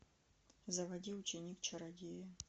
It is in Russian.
заводи ученик чародея